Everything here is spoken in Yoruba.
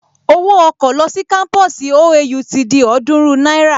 Owó ọkọ̀ lọ sí kámpusi OAU ti di ọ̀ọ́dúrún náírà